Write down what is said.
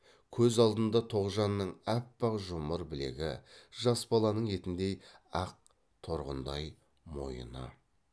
көз алдында тоғжанның аппақ жұмыр білегі жас баланың етіндей ақ торғындай мойыны